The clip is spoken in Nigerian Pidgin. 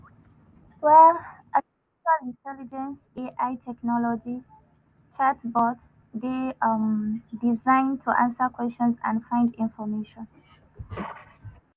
um artificial intelligence (ai) technology chatbots dey um designed to answer questions and find information.